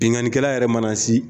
Binkanikɛla yɛrɛ mana sɛ